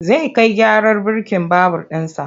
Zai kai gyaran birkin babur ɗinsa.